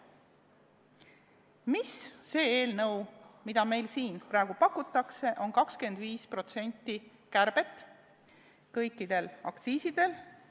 Miks selles eelnõus, mida praegu pakutakse, on ette nähtud 25% kärbet kõikidel aktsiisidel?